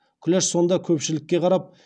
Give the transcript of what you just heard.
күләш сонда көпшілікке қарап